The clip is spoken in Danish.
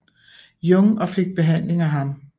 Jung og fik behandling af ham